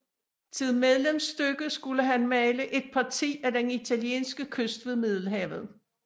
Til medlemsstykke skulle han male Et Parti af den italienske Kyst ved Middelhavet